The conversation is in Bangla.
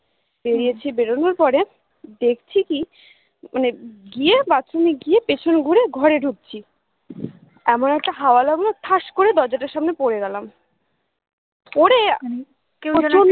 বেড়িয়েছি বেরোনোর পরে দেখছি কি মানে গিয়ে bathroom এ গিয়ে পেছন ঘুরে ঘরে ঢুকছি এমন একটা হাওয়া লাগলো ঠাস করে দরজাটার সামনে পরে গেলাম পরে